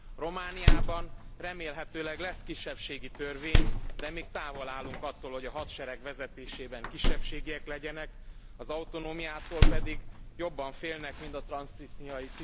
Romániában remélhetőleg lesz kisebbségi törvény, de még távol állunk attól, hogy a hadsereg vezetésében kisebbségiek legyenek, az autonómiától pedig jobban félnek, mint a transznisztriai